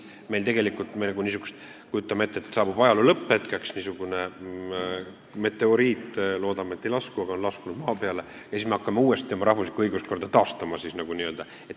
Kujutame ette, et saabub ajaloo lõpp, mingisugune meteoriit on langenud maa peale , ja siis me hakkame uuesti oma rahvuslikku õiguskorda taastama.